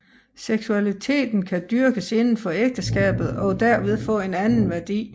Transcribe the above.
Seksualiteten kan dyrkes inden for ægteskabet og derved få en anden værdi